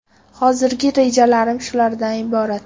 Hozirgi rejalarim shulardan iborat.